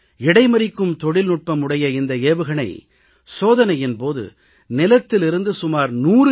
இடைமறிக்கும் தொழில்நுட்பம் உடைய இந்த ஏவுகணை சோதனையின் போது நிலத்திலிருந்து சுமார் 100 கி